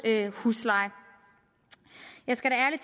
husleje jeg skal ærlig